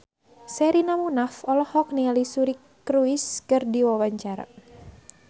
Sherina Munaf olohok ningali Suri Cruise keur diwawancara